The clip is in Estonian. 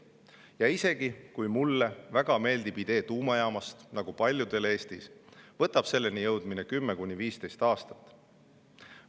Ja isegi kui mulle väga meeldib idee tuumajaamast nagu paljudele Eestis, võtab selleni jõudmine 10–15 aastat.